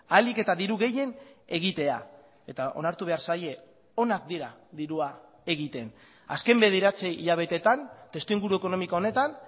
ahalik eta diru gehien egitea eta onartu behar zaie onak dira dirua egiten azken bederatzi hilabeteetan testuinguru ekonomiko honetan